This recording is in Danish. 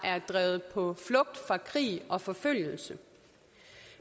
drevet på flugt fra krig og forfølgelse